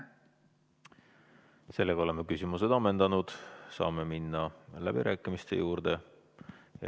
Sellega oleme küsimused ammendanud ja saame minna läbirääkimiste juurde.